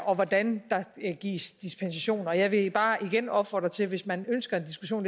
og hvordan der gives dispensation jeg vil bare igen opfordre til at hvis man ønsker en diskussion